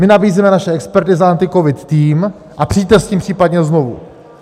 My nabízíme naše experty za AntiCovid tým a přijďte s tím případně znovu.